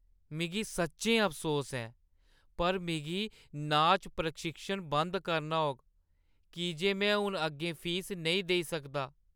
मिगी सच्चैं अफसोस ऐ पर मिगी नाच प्रशिक्षण बंद करना होग की जे में हून अग्गें फीस नेईं देई सकदा।